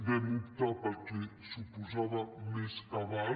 vam optar pel que suposava més cabal